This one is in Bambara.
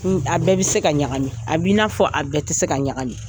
A bɛɛ bɛ se ka ɲagam,i a bɛ i n'a fɔ a bɛɛ tɛ se ka ɲagami.